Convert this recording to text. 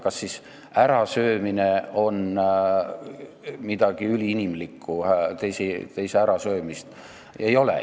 Kas siis ärasöömine on midagi üliinimlikku, teise ärasöömine?